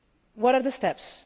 What are the steps?